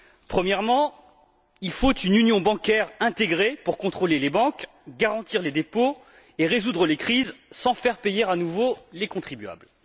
Premièrement, il faut une union bancaire intégrée pour contrôler les banques, garantir les dépôts et résoudre les crises sans faire payer à nouveau les contribuables.